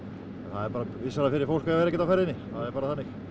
það er vissa fyrir fólk að vera ekkert á ferðinni það er bara þannig